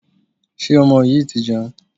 Ṣé ọmọ yìí ti jẹun?